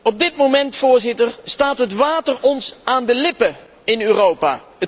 Op dit moment, Voorzitter, staat het water ons aan de lippen in Europa.